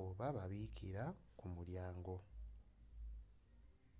oba ababikira ku mulyango